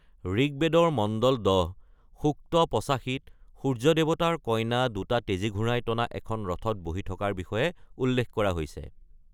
ঋগবেদৰ মণ্ডল ১০, সূক্ত ৮৫ত সূৰ্য দেৱতাৰ কইনা দুটা তেজী ঘোঁৰাই টনা এখন ৰথত বহি থকাৰ বিষয়ে উল্লেখ কৰা হৈছে।